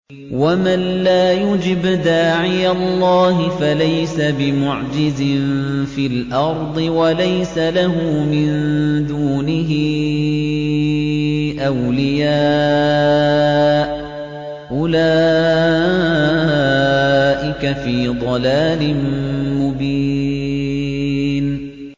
وَمَن لَّا يُجِبْ دَاعِيَ اللَّهِ فَلَيْسَ بِمُعْجِزٍ فِي الْأَرْضِ وَلَيْسَ لَهُ مِن دُونِهِ أَوْلِيَاءُ ۚ أُولَٰئِكَ فِي ضَلَالٍ مُّبِينٍ